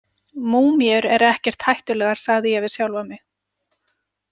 Múmíur eru ekkert hættulegar, sagði ég við sjálfa mig.